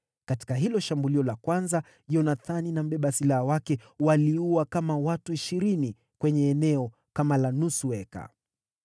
Katika hilo shambulio la kwanza, Yonathani na mbeba silaha wake waliua kama watu ishirini kwenye eneo kama la nusu eka.